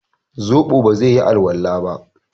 zobo ba zai yi alwala ba